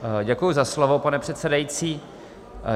Děkuji za slovo, pane předsedající.